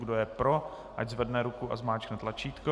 Kdo je pro, ať zvedne ruku a zmáčkne tlačítko.